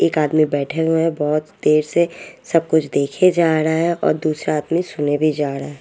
एक आदमी बेठे हुए है बोत देर से सब कुछ देखे जाडा है और दूसरा आदमी सुने भी जाडा है ।